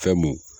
Fɛn mun